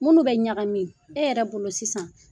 Minnu bɛ ɲaga min, e yɛrɛ bolo sisan